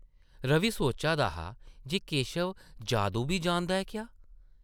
रवि सोचा दा हा जे केशव जादू बी जानदा ऐ क्या ?